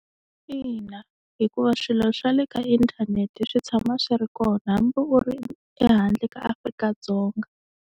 Ina hikuva swilo swa le ka inthanete swi tshama swi ri kona hambi u ri ehandle ka Afrika-Dzonga.